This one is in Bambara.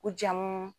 U jamu